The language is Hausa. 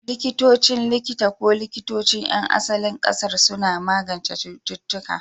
Likitocin likita ko likitocin 'yan asalin ƙasar suna magance cututtuka.